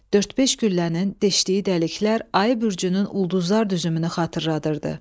Dörd-beş güllənin deşdiyi dəliklər Ayı bürcünün ulduzlar düzümünü xatırladırdı.